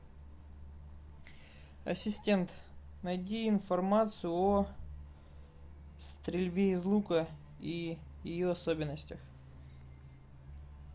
ассистент найди информацию о стрельбе из лука и ее особенностях